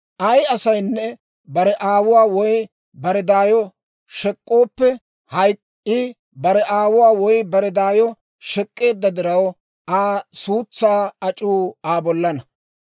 « ‹Ay asaynne bare aawuwaa woy bare daayo shek'k'ooppe hayk'k'o. I bare aawuwaa woy bare daayo shek'k'eedda diraw, Aa suutsaa ac'uu Aa bollana.